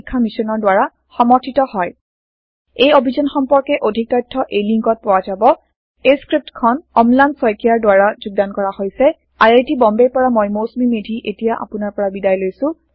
এই অভিযান সম্পৰ্কে অধিক তথ্য এই লিংকত পোৱা যাব spoken hyphen tutorial dot org slash এনএমইআইচিত হাইফেন ইন্ট্ৰ এই স্ক্ৰপ্টখন অম্লান শইকীয়াৰ দ্ৱাৰা যোগদান কৰা হৈছে আই আই টি বম্বেৰ পৰা মই মৌচুমি মেধী এতিয়া আপোনাৰ পৰা বিদায় লৈছো